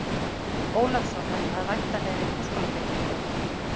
Ólafssonar að væntanlegri háskólabyggingu.